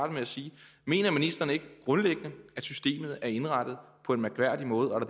med at sige mener ministeren ikke grundlæggende at systemet er indrettet på en mærkværdig måde og